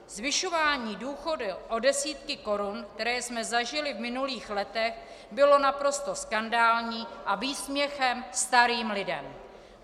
Zvyšování důchodů o desítky korun, které jsme zažili v minulých letech, bylo naprosto skandální a výsměchem starým lidem.